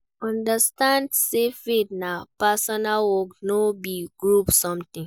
Understand say faith na personal work no be group something